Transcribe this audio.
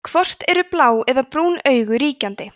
hvort eru blá eða brún augu ríkjandi